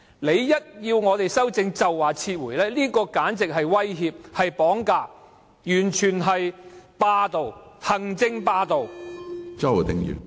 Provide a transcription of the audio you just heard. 議員一提出修正案，政府便說要撤回法案，簡直是威脅、是綁架，完全是霸道、行政霸道。